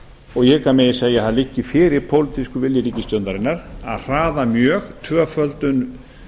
og ég hygg að megi segja að liggi fyrir pólitískur vilji ríkisstjórnarinnar að hraða mjög tvöföldun